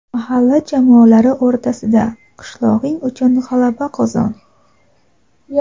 mahalla jamoalari o‘rtasida), "Qishlog‘ing uchun g‘alaba qozon!"